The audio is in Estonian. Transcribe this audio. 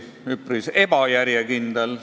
Üpris ebajärjekindel.